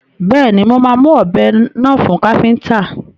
Bẹ́ẹ̀ni, mo máa mu ọ̀bẹ náà fún káfíntà.